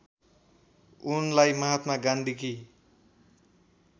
उनलाई महात्मा गान्धीकी